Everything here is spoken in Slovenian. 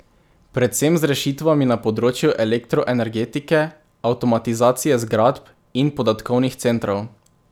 Predvsem z rešitvami na področju elektroenergetike, avtomatizacije zgradb in podatkovnih centrov.